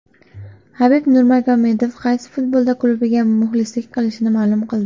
Habib Nurmagomedov qaysi futbol klubiga muxlislik qilishini ma’lum qildi.